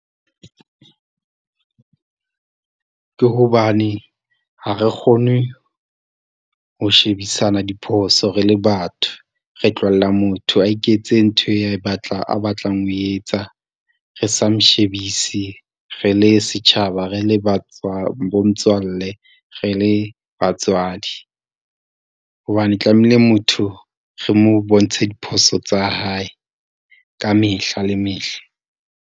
Ke hobane ha re kgone ho shebisana diphoso re le batho. Re tlohella motho a iketse ntho e a batlang ho e etsa, re sa mo shebise re le setjhaba, re le bo motswalle, re le batswadi. Hobane tlamehile motho re mo bontshe diphoso tsa hae, ka mehla le mehla.